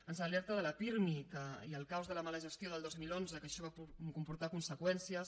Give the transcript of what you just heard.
ens alerta del pirmi i el caos de la mala gestió del dos mil onze que això va comportar conseqüències